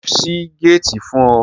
Ṣé o ṣí géètì fún ọ?